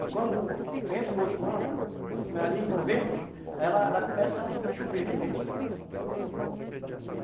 E quando entra o outro ano, ali em novembro, aí ela ela começa a chover, aí a gente planta, uhum